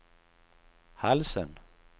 halsen